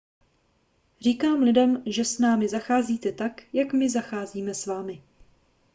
říkám lidem že s námi zacházíte tak jak my zacházíme s vámi